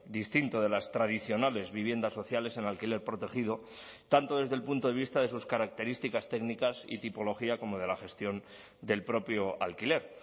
distinto de las tradicionales viviendas sociales en alquiler protegido tanto desde el punto de vista de sus características técnicas y tipología como de la gestión del propio alquiler